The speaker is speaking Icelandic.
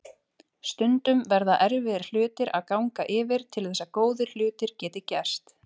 Stundum verða erfiðir hlutir að ganga yfir til þess að góðir hlutir geti gerst.